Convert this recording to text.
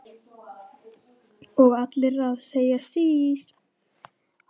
Og allir að segja sís!